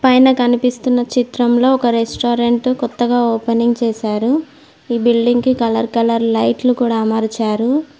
పైన కనిపిస్తున్న చిత్రంలో ఒక రెస్టారెంట్ కొత్తగా ఓపెనింగ్ చేశారు ఈ బిల్డింగ్ కి కలర్ కలర్ లైట్లు కూడా అమర్చారు.